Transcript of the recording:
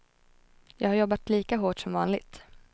Jag har jobbat lika hårt som vanligt.